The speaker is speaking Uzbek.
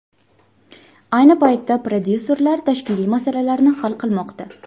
Ayni paytda prodyuserlar tashkiliy masalalarni hal qilmoqda.